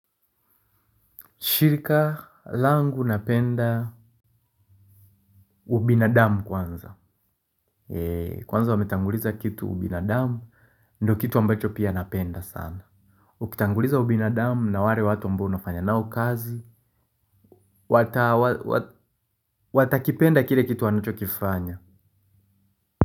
Shirika langu napenda ubinadamu kwanza kwanza wametanguliza kitu binadamu nduo kitu ambacho napenda sana. Ukitanguliza ubinadamu na ware watu ambao unafanya nao ukazi, watakipenda kile kitu wanachokifanya.